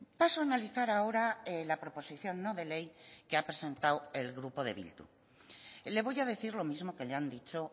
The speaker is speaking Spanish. paso a analizar ahora la proposición no de ley que ha presentado el grupo de bildu le voy a decir lo mismo que le han dicho